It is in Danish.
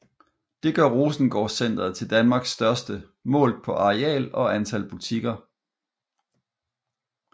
Det gør Rosengårdcentret til Danmarks største målt på areal og antal butikker